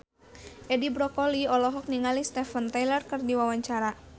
Edi Brokoli olohok ningali Steven Tyler keur diwawancara